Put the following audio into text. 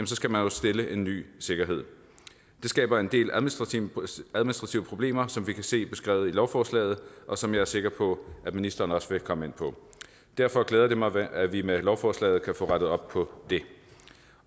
skal man stille en ny sikkerhed det skaber en del administrative problemer som vi kan se beskrevet i lovforslaget og som jeg er sikker på at ministeren også vil komme ind på derfor glæder det mig at vi med lovforslaget kan få rettet op på det